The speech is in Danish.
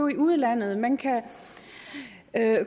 i udlandet man kan